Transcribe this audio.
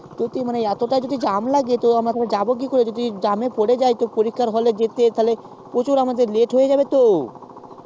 ও তুই বলছিস এতটাই জ্যাম লাগে তো আমরা যদি জ্যাম এ পরে যাই তাহলে আমরা যাবো কি করে তো তাহলে আমাদের প্রচুর late হয়ে যাবে তো